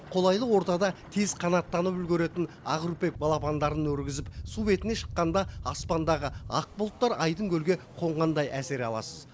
қолайлы ортада тез қанаттанып үлгеретін ақүрпек балапандарын өргізіп су бетіне шыққанда аспандағы ақ бұлттар айдын көлге қонғандай әсер аласыз